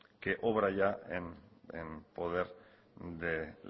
que obra ya en poder de